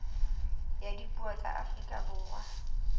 ya dipuo tsa afrika borwa